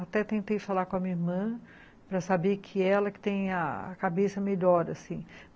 Até tentei falar com a minha irmã para saber que ela que tem a cabeça melhor, assim.